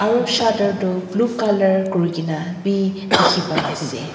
aru shutter tu blue colour kurikena bi dekhi pai ase.